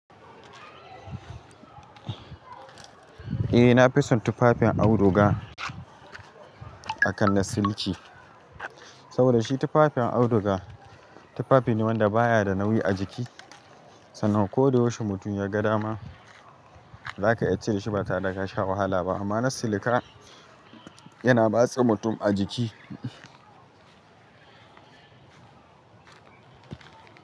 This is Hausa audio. Eh na fi son tufafin auduga akan na siliki. Saboda shi tufafin auduga, tufafi ne wanda baya da nauyi a jiki sannan ko da yaushe mutum ya ga da ma zaka iya cire shi ba tare daka sha wahala ba, amma na silika yana matsa mutum a jiki.